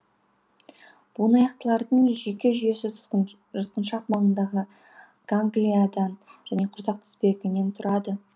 буынаяқтылардың жүйке жүйесі жұтқыншақ маңындағы ганглиядан және құрсақ тізбегінен тұрады